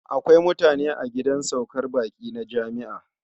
Akwai mutane a gidan saukar baƙi na jami'a.